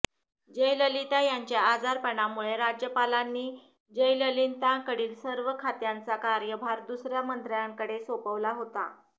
जयललिता यांच्या आजारपणामुळे राज्यपालांनी जयललितांकडील सर्व खात्यांचा कार्यभार दुसर्या मंत्र्यांकडे सोपवला होता